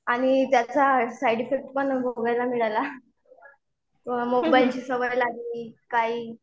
आणि त्याचा side effect पण भोगायला मिळाला. मोबाईलची सवय लागली काही.